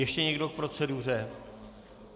Ještě někdo k proceduře?